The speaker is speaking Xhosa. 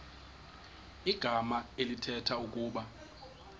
igama elithetha ukuba